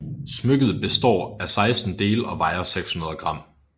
Smykket består af 16 dele og vejer 600 gram